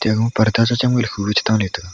parda che chemle hu tore che tega.